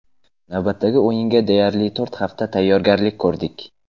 Navbatdagi o‘yinga deyarli to‘rt hafta tayyorgarlik ko‘rdik.